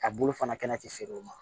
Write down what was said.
A bolo fana kɛnɛ ti feere o ma